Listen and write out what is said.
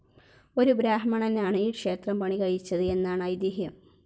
ഒരു ബ്രാഹ്മണനാണ് ഈ ക്ഷേത്രം പണികഴിപ്പിച്ചത് എന്നാണ് ഐതിഹ്യം.